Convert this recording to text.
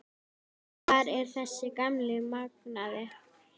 Hvar er þessi gamli magnaði?